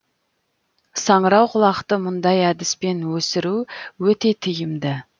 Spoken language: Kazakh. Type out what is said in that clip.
саңырауқұлақты мұндай әдіспен өсіру өте тиімді